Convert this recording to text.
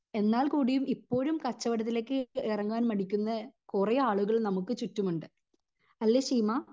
എന്നാൽ കൂടിയും ഇപ്പോഴും കച്ചവടത്തിലേക് എറങ്ങാൻ മടിക്കുന്ന കൊറേ ആളുകൾ നമുക്ക് ചുറ്റും ഉണ്ട് അല്ലെ ശീമ